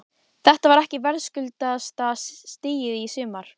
Þetta var ekki verðskuldaðasta stigið í sumar?